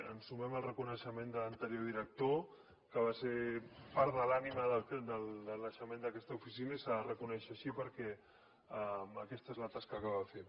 ens sumem al reconeixement de l’anterior director que va ser part de l’ànima del naixement d’aquesta oficina i s’ha de reconèixer així perquè aquesta és la tasca que va fer